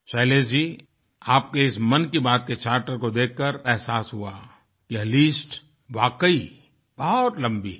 शैलेश जी आपके इस मन की बातके चार्टर को देखकर एहसास हुआ यह लिस्ट वाकई बहुत लम्बी है